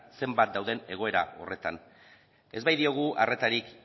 zenbat dauden egoera horretan ez baitiogu arretarik